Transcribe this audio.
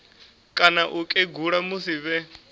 kana u kegula musi vhe